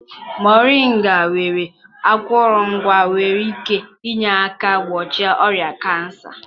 Mọrịnga nwere akụrụngwa nwere ike inye aka gbochie ọrịa kansa.